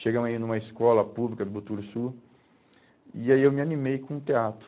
Chegamos a ir numa escola pública do Boturussu e aí eu me animei com o teatro.